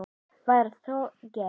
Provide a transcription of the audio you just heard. Var það og gert.